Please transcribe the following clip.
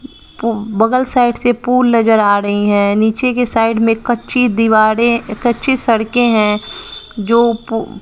पु बगल साइड से पुल नजर आ रही है नीचे के साइड में कच्ची दीवारें कच्ची सड़के हैं जो पु--